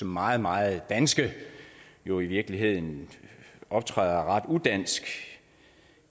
meget meget danske jo i virkeligheden optræder ret udansk